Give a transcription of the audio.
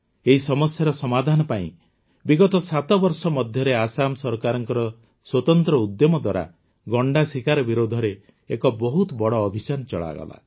ଏହି ସମସ୍ୟାର ସମାଧାନ ପାଇଁ ବିଗତ ସାତବର୍ଷ ମଧ୍ୟରେ ଆସାମ ସରକାରଙ୍କ ସ୍ୱତନ୍ତ୍ର ଉଦ୍ୟମ ଦ୍ୱାରା ଗଣ୍ଡା ଶିକାର ବିରୋଧରେ ଏକ ବହୁତ ବଡ଼ ଅଭିଯାନ ଚଳାଗଲା